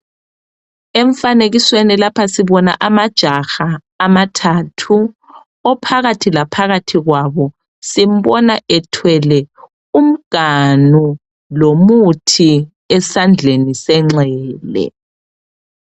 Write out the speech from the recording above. Emfanekisweni lapha sibona amajaha amathathu. Ophakathi laphakathi kwabo simbona ethwele umganu lomuthi esandleni senxele.